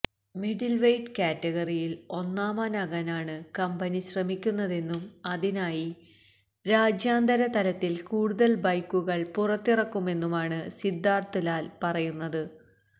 middle weight ക്യാറ്റഗറിയിൽ ഒന്നാമനാകാനാണ് company ശ്രമിക്കുന്നതെന്നും അതിനായി രാജ്യാന്തര തലത്തിൽ കൂടുതൽ ബൈക്കുകൾ പുറത്തിറക്കുമെന്നുമാണ് സിദ്ദാർഥ് ലാൽ പറയുന്നത്